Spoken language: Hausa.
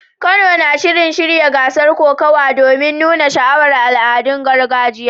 Kano na shirin shirya gasar kokawa domin nuna sha'awar al'adun gargajiyar.